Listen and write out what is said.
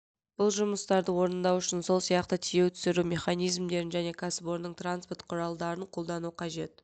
бұл жұмыстарды орындау үшін сол сияқты тиеу-түсіру механизмдерін және кәсіпорынның транспорт құралдарын қолдану қажет